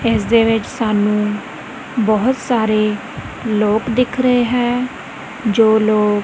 ਇਸ ਦੇ ਵਿੱਚ ਸਾਨੂੰ ਬਹੁਤ ਸਾਰੇ ਲੋਕ ਦਿਖ ਰਹੇ ਹੈ ਜੋ ਲੋਕ--